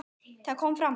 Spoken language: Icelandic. Þar kom fram að